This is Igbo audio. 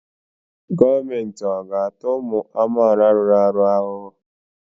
Gọọmenti ọ̀ ga-ata ụmụ amaala rụrụ arụ ahụhụ?